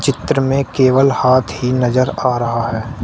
चित्र में केवल हाथ ही नजर आ रहा है।